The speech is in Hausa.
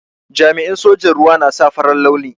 Jami'in sojan ruwa na sa farar launi.